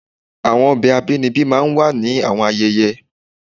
Awọn ọbẹ abinibi máà ń wa ni awọn ayẹyẹ